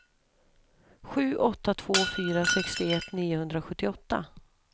sju åtta två fyra sextioett niohundrasjuttioåtta